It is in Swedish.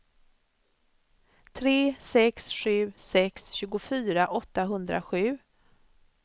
tre sex sju sex tjugofyra åttahundrasju